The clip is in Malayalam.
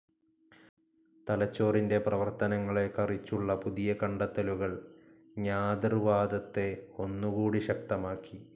തലച്ചോറിന്റെ പ്രവർത്തനങ്ങളെ കറിച്ചുള്ള പുതിയ കണ്ടെത്തലുകൾ ജ്ഞാതൃവാദത്തെ ഒന്നുകൂടി ശക്തമാക്കി.